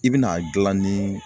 I bɛna a gilan ni